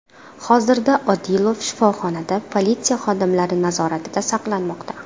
Hozirda Odilov shifoxonada politsiya xodimlari nazoratida saqlanmoqda.